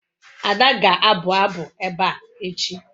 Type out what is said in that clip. Ada ga-abu abu ebe a echi